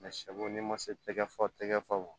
n'i ma se tɛgɛ fa tɛgɛ fa wo